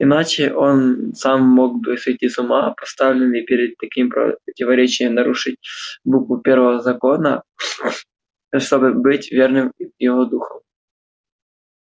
иначе он сам мог бы сойти с ума поставленный перед таким противоречием нарушить букву первого закона чтобы быть верным его духу